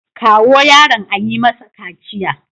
Kawo yaron a yi masa kaciya.